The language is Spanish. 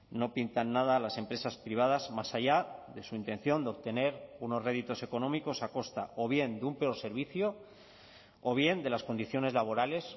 no pintan nada a las empresas privadas más allá de su intención de obtener unos réditos económicos a costa o bien de un peor servicio o bien de las condiciones laborales